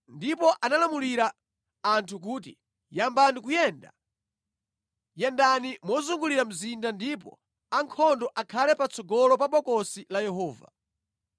Ndipo analamulira anthu kuti, “Yambani kuyenda! Yendani mozungulira mzinda ndipo ankhondo akhale patsogolo pa Bokosi la Yehova.”